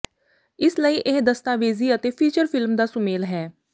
ਇਸ ਲਈ ਇਹ ਦਸਤਾਵੇਜ਼ੀ ਅਤੇ ਫ਼ੀਚਰ ਫ਼ਿਲਮ ਦਾ ਸੁਮੇਲ ਹੈ